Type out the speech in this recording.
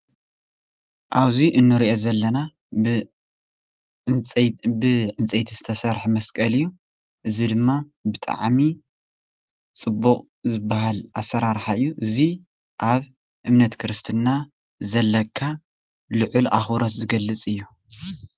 ኣብዚ እንርእዮ ዘለና ብዕንፀይቲ ዝተሰርሐ መስቀል እዩ። እዚ ድማ ብጣዕሚ ፅቡቅ ዝበሃል ኣሰራርሓ እዩ እዚ ኣብ እምነት ክርስትና ዘለካ ልዑል ኣኽብሮት ዝገልፅ እዩ።